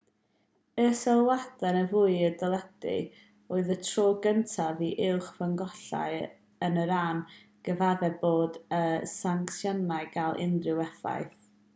y sylwadau yn fyw ar deledu oedd y tro cyntaf i uwch ffynonellau yn iran gyfaddef bod y sancsiynau'n cael unrhyw effaith